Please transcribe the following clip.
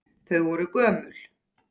Þau voru gömul.